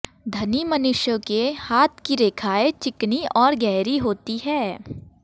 धनी मनुष्यों के हाथ की रेखायें चिकनी और गहरी होती है